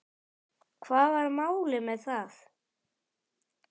Hvað var málið með það?